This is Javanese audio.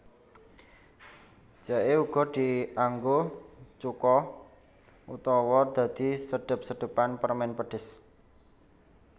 Jaé uga dianggo cuka utawa dadi sedhep sedhepan permèn pedhes